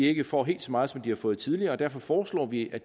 ikke får helt så meget som den har fået tidligere og derfor foreslår vi at